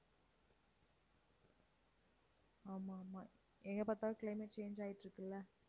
ஆமா, ஆமா எங்க பார்த்தாலும் climate change ஆயிட்டிருக்குல்ல.